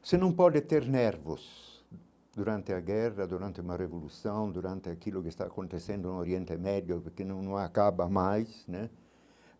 Você não pode ter nervos durante a guerra, durante uma revolução, durante aquilo que está acontecendo no Oriente Médio, porque não não acaba mais, né?